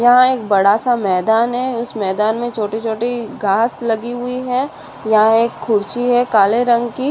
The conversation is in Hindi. यहाँ एक बडासा मैदान है इस मैदान मै छोटे छोटी घास लगी हुई है यहाँ एक खुर्ची है काले रंग की --